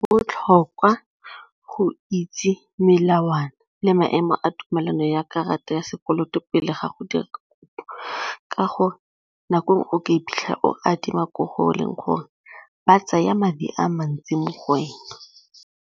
Botlhokwa go itse melawana le maemo a tumelano ya karata ya sekoloto pele ga go dira ka gore nako o ka iphitlhela o adima ko go o leng gore ba tsaya madi a mantsi mo go wena.